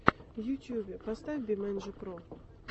в ютубе поставь бимэнджи про